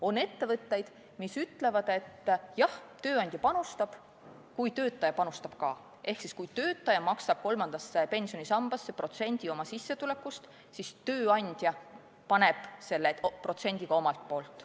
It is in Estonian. On ettevõtteid, mis ütlevad, et jah, tööandja panustab, kui töötaja panustab ka, ehk kui töötaja maksab kolmandasse pensionisambasse protsendi oma sissetulekust, siis tööandja paneb protsendi ka omalt poolt.